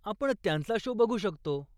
आपण त्यांचा शो बघू शकतो.